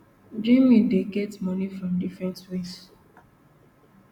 jnim dey get money from different ways